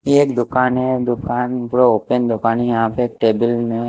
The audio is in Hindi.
एक दुकान है दुकान ओपन यहा पे टेबिल में--